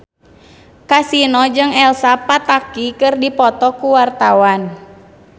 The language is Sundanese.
Kasino jeung Elsa Pataky keur dipoto ku wartawan